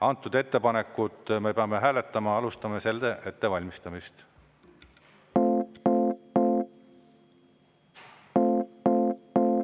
Antud ettepanekut me peame hääletama, ja alustame selle ettevalmistamist.